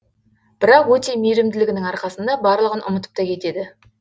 бірақ өте мейірімділігінің арқасында барлығын ұмытып та кетеді